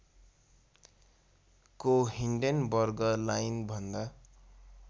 को हिन्डेनबर्ग लाइनभन्दा